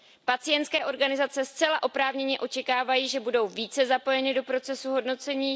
Pacientské organizace zcela oprávněně očekávají, že budou více zapojeny do procesu hodnocení.